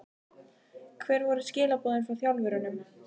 Hver voru skilaboðin frá þjálfurunum?